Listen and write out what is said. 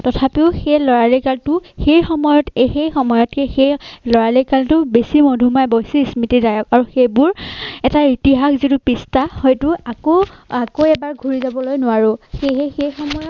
তথাপিও সেই লৰালি কালটো সেই সময়ত একে সময়তে সেই লৰালি কালটো বেছি মধুময় বেছি স্মৃতিদায়ক আৰু সেইবোৰ এটা ইতিসাহ যিটো পৃষ্ঠা হয়তো আকৌ আকৌ এবাৰ ঘুৰি যাবলৈ নোৱাৰোঁ। সেইহে সেই সময়ৰ